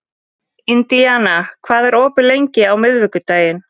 Indiana, hvað er opið lengi á miðvikudaginn?